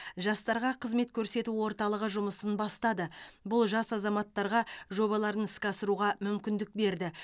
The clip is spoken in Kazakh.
жастарға қызмет көрсету орталығы жұмысын бастады бұл жас азаматтарға жобаларын іске асыруға мүмкіндік берді